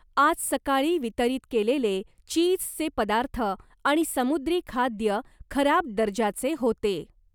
आज सकाळी वितरित केलेले चीजचे पदार्थ आणि समुद्री खाद्य खराब दर्जाचे होते.